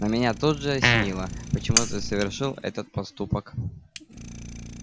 но меня тут же осенило почему ты совершил этот поступок